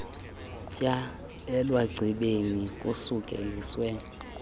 tyaa elwagcibeni kusukeliswe